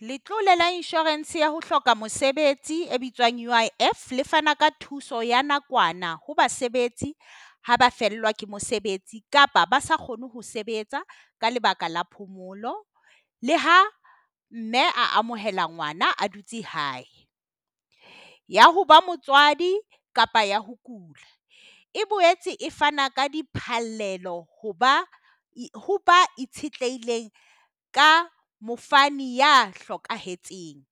Letlole la insurance ya ho hloka mosebetsi e bitswang UIF, le fana ka thuso ya nakwana ho basebetsi ha ba fellwa ke mosebetsi kapa ba sa kgone ho sebetsa ka lebaka la phomolo. Le ha mme a amohela ngwana a dutse hae. Ya ho ba motswadi kapa ya ho kula. E boetse e fana ka diphallelo ho ba itshetlehileng ka mofani ya hlokahetseng.